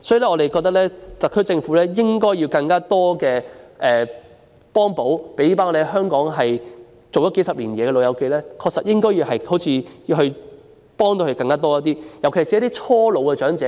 我們覺得特區政府應提供更多補貼，為在香港工作數十年的"老友記"提供更多幫助，尤其是一些剛踏入老年的長者。